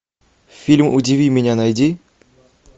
фильм удиви меня найди